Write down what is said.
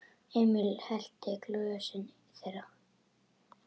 Emil hellti í glösin þeirra.